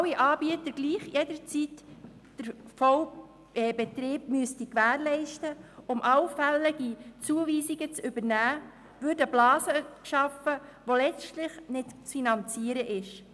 Wenn alle Anbieter jederzeit den Vollbetrieb gewährleisten müssen, um allfällige Zuweisungen zu übernehmen, würden Blasen geschaffen, die letztlich nicht zu finanzieren sind.